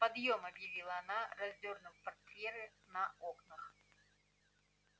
подъём объявила она раздёрнув портьеры на окнах